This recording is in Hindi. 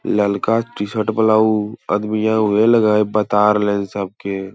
ललका टी-शर्ट वाला उ अदमियां उहे लगे हेय बता रहले हेय सबके।